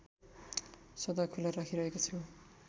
सदा खुला राखिरहेको छु